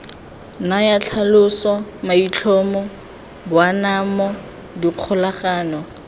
naya tlhaloso maitlhomo boanamo dikgolagano